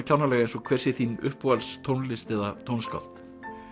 kjánalega eins og hver sé þín uppáhalds tónlist eða tónskáld